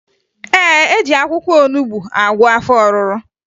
E ji akwụkwọ olubo agwọ afọ ọrụrụ